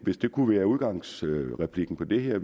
hvis det kunne være udgangsreplikken for det her